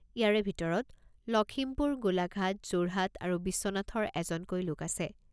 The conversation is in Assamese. ইয়াৰে ভিতৰত লখিমপুৰ, গোলাঘাট, যোৰহাট আৰু বিশ্বনাথৰ এজনকৈ লোক আছে।